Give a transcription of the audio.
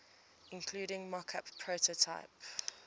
including mockup prototype